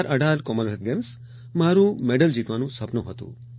2018 Commonwealth games મારું medal જીતવાનું સપનું હતું